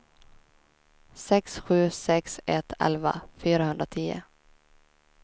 sex sju sex ett elva fyrahundratio